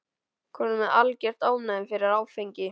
Kominn með algert ofnæmi fyrir áfengi.